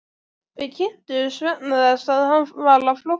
Við kynntumst vegna þess að hann var á flótta.